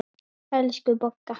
Elsku Bogga.